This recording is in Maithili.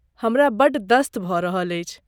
हमरा बड़ दस्त भऽ रहल अछि।